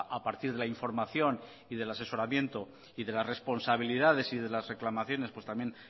a partir de la información y del asesoramiento y de las responsabilidades y de las reclamaciones pues también